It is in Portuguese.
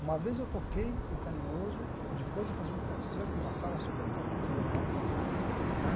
Uma vez eu toquei o Carinhoso depois de fazer um concerto numa sala super importante da Europa, né?